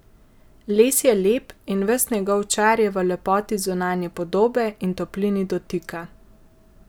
Les je lep in ves njegov čar je v lepoti zunanje podobe in toplini dotika.